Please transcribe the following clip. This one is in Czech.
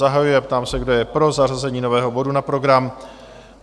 Zahajuji a ptám se, kdo je pro zařazení nového bodu na program?